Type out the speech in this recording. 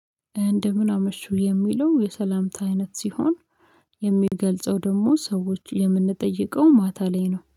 እንደምን አመሹ የሚለው የሰላምታ አይነት ሲሆን። የሚገልጸው ደግሞ ሰዎቹን የምንጠይቀው ማታ ላይ ነው